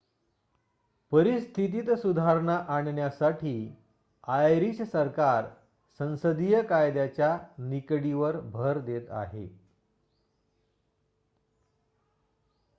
परिस्थितीत सुधारणा आणण्यासाठी आयरिश सरकार संसदीय कायद्याच्या निकडीवर भर देत आहे